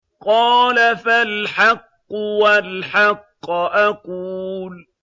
قَالَ فَالْحَقُّ وَالْحَقَّ أَقُولُ